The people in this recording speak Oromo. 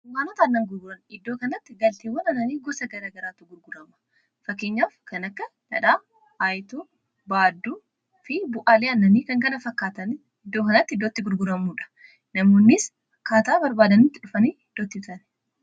dunkaanota aannan gurguran iddoo kanatti galtiiwwan ananii gusa gara garaatu gurgurama fakkinyaaf kan akka dadhaa aayitu baadduu fi bu'aalii annanii kankana fakkaatan iddoo kanatti iddootti gurguramuudha namoonnis kaataa barbaadanitti dhufanii iddootti utan